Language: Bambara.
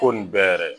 Ko nin bɛɛ yɛrɛ ye